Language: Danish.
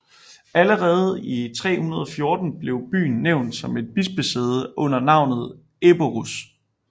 Allerede i 314 blev byen nævnt som et bispesæde under navnet Eborus